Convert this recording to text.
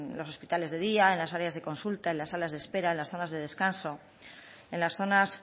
los hospitales de día en las áreas de consulta en la salas de espera en las salas de descanso en las zonas